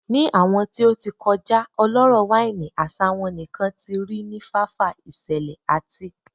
Ni awọn ti o ti kọja ọlọrọ waini asa won nikan ti ri ni fafa iṣẹlẹ ati